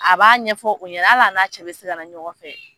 A b'a ɲɛfɔ u ɲɛ hali a na cɛ bɛ se ka na ɲɔgɔn fɛ.